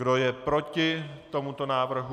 Kdo je proti tomuto návrhu?